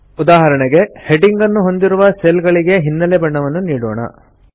ಉದಾಹರಣೆಗೆ ಹೆಡಿಂಗ್ ನ್ನು ಹೊಂದಿರುವ ಸೆಲ್ ಗಳಿಗೆ ಹಿನ್ನೆಲೆ ಬಣ್ಣವನ್ನು ನೀಡೋಣ